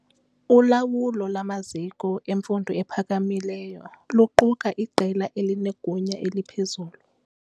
Ulawulo lwamaziko emfundo ephakamileyo luquka iqela elinegunya eliphezulu.